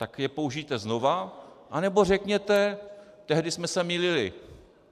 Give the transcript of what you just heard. Tak je použijte znova, anebo řekněte: Tehdy jsme se mýlili.